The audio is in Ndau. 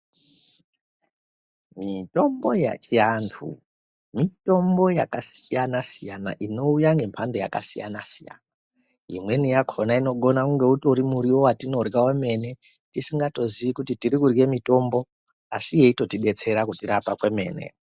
Mitombo yechavanhu ,mitombo yakasiyana siyana inouya ngemhando yakasiyana siyana imweni yakhona inogona kunge utori miriwo yatinorya yemene ,tisingatozii kuti tiri kurye mitombo asi yeitorirapa kwemene.